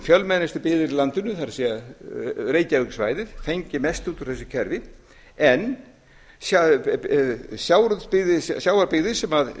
fjölmennustu byggðir í landinu það er reykjavíkursvæðið fengi mest út úr þessu kerfi en sjávarbyggðir